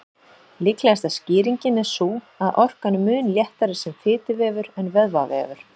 Líklegasta skýringin er sú að orkan er mun léttari sem fituvefur en vöðvavefur.